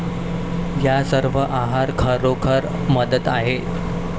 या सर्व आहार खरोखर मदत आहे.